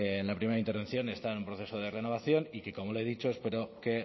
en mi primera intervención está en proceso de renovación y que como le he dicho espero que